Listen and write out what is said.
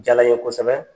Diyala n ye kosɛbɛ